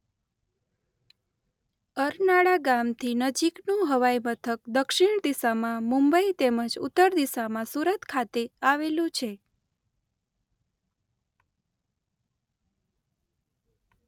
અરનાળા ગામથી નજીકનું હવાઇમથક દક્ષિણ દિશામાં મુંબઇ તેમ જ ઉત્તર દિશામાં સુરત ખાતે આવેલું છે.